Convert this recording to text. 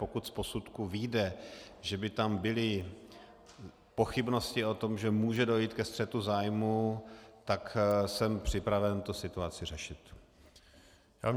Pokud z posudku vyjde, že by tam byly pochybnosti o tom, že může dojít ke střetu zájmů, tak jsem připraven tu situaci řešit.